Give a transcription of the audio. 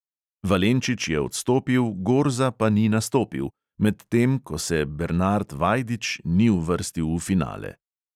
Valenčič je odstopil, gorza pa ni nastopil, medtem ko se bernard vajdič ni uvrstil v finale.